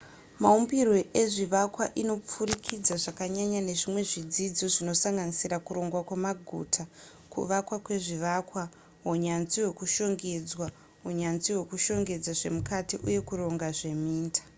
maumbirwe ezvivakwa inopfurikidza zvakanyanya nezvimwe zvidzidzo zvinosanganisira kuronga kwemaguta kuvakwa kwezvivakwa hunyanzvi hwekushongedzwa hunyanzvi hwekushongedza zvemukati uye kuronga zveminda